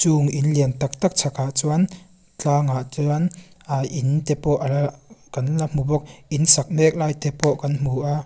chung in lian tak tak chhakah chuan tlângah chuan ahh in te pawh ala kan la hmu bawk in sak mêk laite pawh kan hmu a.